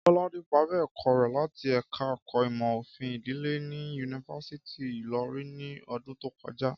Kọ́ládé parí ẹ̀kọ́ rẹ̀ láti ẹ̀ka ẹ̀kọ́ ìmò òfin ìdílé ní yunifásítì Ìlọrin ni ọdún tó kọjá